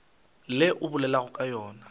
le o bolelago ka lona